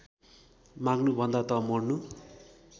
माग्नुभन्दा त मर्नु